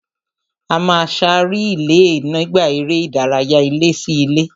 A máa sá rìílè nígbà eré ìdárayá ilé-sí-ilé